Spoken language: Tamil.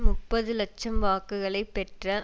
முப்பது இலட்சம் வாக்குகளை பெற்ற